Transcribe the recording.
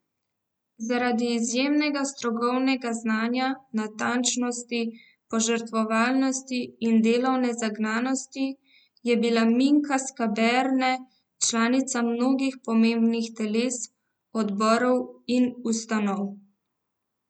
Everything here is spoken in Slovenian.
Zaradi izjemnega strokovnega znanja, natančnosti, požrtvovalnosti in delovne zagnanosti je bila Minka Skaberne članica mnogih pomembnih teles, odborov in ustanov.